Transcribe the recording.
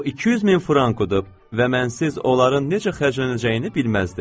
O 200 min franka udub və mən sizsiz onların necə xərclənəcəyini bilməzdi.